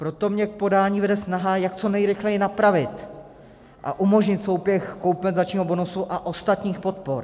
Proto mě k podání vede snaha, jak co nejrychleji napravit a umožnit souběh kompenzačního bonusu a ostatních podpor.